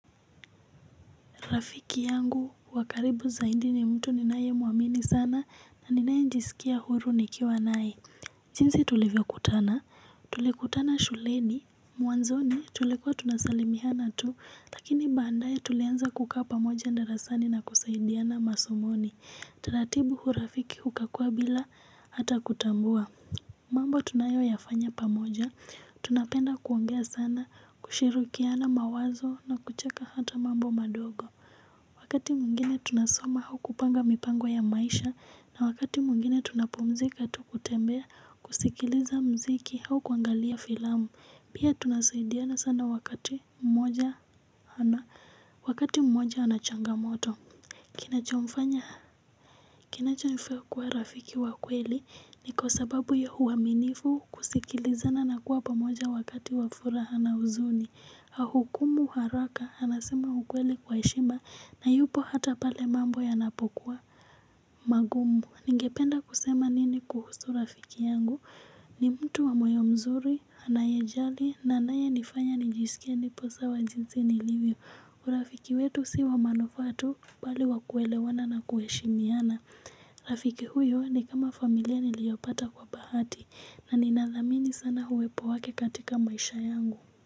Rafiki yangu wa karibu zaidi ni mtu ninayemuamini sana na ninaejisikia huru nikiwa nae. Jinsi tulivyokutana, tulikutana shuleni, mwanzoni tulikuwa tunasalimiana tu. Lakini baadaye tulianza kukaa pamoja darasani na kusaidiana masomoni. Taratibu urafiki ukakua bila hata kutambua. Mambo tunayoyafanya pamoja, tunapenda kuongea sana, kushirukiana mawazo na kucheka hata mambo madogo. Wakati mwingine tunasoma au kupanga mipango ya maisha na wakati mwingine tunapumzika tu kutembea kusikiliza mziki au kuangalia filamu pia tunasaidiana sana wakati mmoja ana wakati mmoja ana changamoto. Kinachomfanya kinachonifanya kuwa rafiki wa kweli ni kwa sababu ya huaminifu kusikilizana na kuwa pamoja wakati wa furaha na huzuni hukumu haraka, anasema ukweli kwa heshima na yupo hata pale mambo yanapokuwa magumu. Ningependa kusema nini kuhusu rafiki yangu. Ni mtu wa moyo mzuri, anayejali, na anayenifanya nijisikie nipo sawa jinsi nilibyo. Kwa rafiki wetu si wa manufaa tu bali wa kuelewana na kuheshimiana. Rafiki huyo ni kama familia niliyopata kwa bahati na ninathamini sana uwepo wake katika maisha yangu.